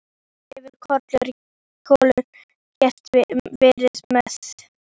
Þá hefði Kolur getað verið með.